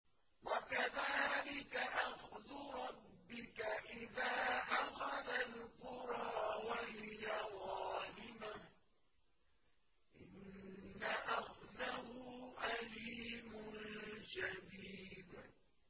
وَكَذَٰلِكَ أَخْذُ رَبِّكَ إِذَا أَخَذَ الْقُرَىٰ وَهِيَ ظَالِمَةٌ ۚ إِنَّ أَخْذَهُ أَلِيمٌ شَدِيدٌ